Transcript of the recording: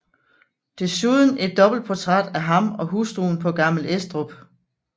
Desuden et dobbeltportræt af ham og hustruen på Gammel Estrup